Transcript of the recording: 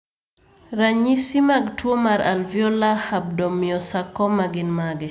Ranyisi mag tuwo mar alveolar rhabdomyosarcoma gin mage?